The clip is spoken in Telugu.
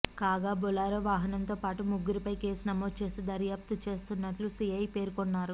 కాగా బొలొరె వాహనంతో పాటు ముగ్గురిపై కేసునమోదు చేసి దర్యాప్తు చేస్తున్నట్లు సిఐ పెర్కొన్నారు